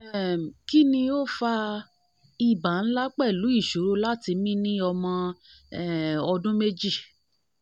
um kini o fa iba nla pelu isoro lati mi ni omo um odun meji?